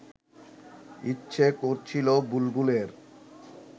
ইচ্ছে করছিল বুলবুলের